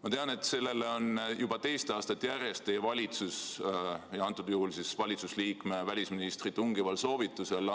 Ma tean, et juba teist aastat järjest on teie valitsuse liikme, antud juhul välisministri tungival soovitusel